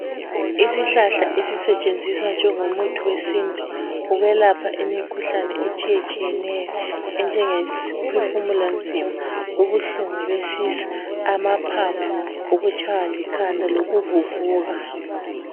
Isihlahla esisetshenziswa njengomuthi wesintu ukwelapha imikhuhlane etshiyetshiyeneyo enjengekuphefumula nzima, ubuhlungu besisu, amaphaphu, ukutshaywa likhanda lokuvuvuka.